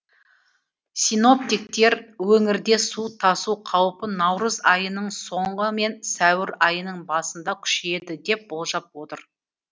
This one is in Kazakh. синоптиктер өңірде су тасу қаупі наурыз айының соңы мен сәуір айының басында күшейеді деп болжап отыр